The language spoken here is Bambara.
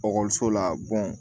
la